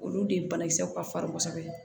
Olu de banakisɛw ka farin kosɛbɛ